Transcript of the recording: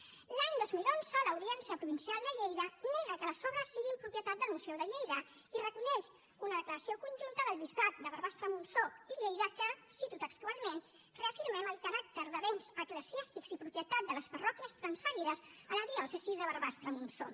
l’any dos mil onze l’audiència provincial de lleida nega que les obres siguin propietat del museu de lleida i reconeix una declaració conjunta del bisbat de barbastremontsó i lleida que cito textualment reafirmem el caràcter de béns eclesiàstics i propietat de les parròquies transferides a la diòcesi de barbastremontsó